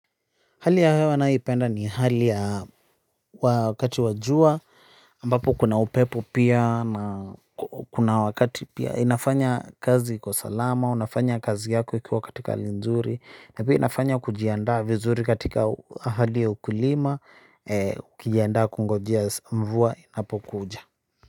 Hali ya hewa ninayoipenda ni hali ya wakati wa jua, ambapo kuna upepo pia na kuna wakati pia inafanya kazi kwa salama. Unafanya kazi yako ukiwa katika hali nzuri. Na pia inafanya kujiandaa vizuri katika hali ya ukulima. Ukijiandaa kungojea mvua inapokuja.